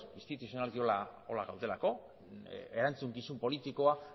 instituzionalki horrela delako erantzukizun politikoa